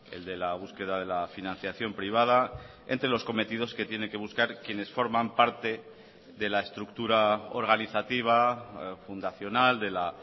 el de la búsqueda de la financiación privada entre los cometidos que tienen que buscar quienes forman parte de la estructura organizativa fundacional de la